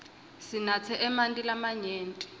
sinatse emanti lamanyenti